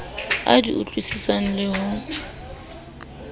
a di utlwisisang le ho